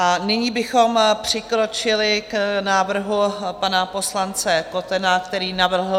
A nyní bychom přikročili k návrhu pana poslance Kotena, který navrhl...